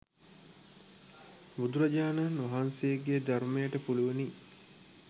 බුදුරජාණන් වහන්සේගේ ධර්මයට පුළුවනි.